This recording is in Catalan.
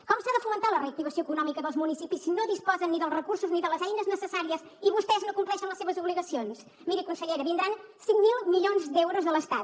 com s’ha de fomentar la reactivació econòmica dels municipis si no disposen ni dels recursos ni de les eines necessàries i vostès no compleixen les seves obligacions miri consellera vindran cinc mil milions d’euros de l’estat